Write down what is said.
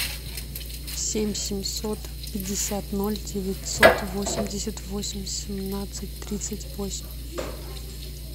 семь семьсот пятьдесят ноль девятьсот восемьдесят восемь семнадцать тридцать восемь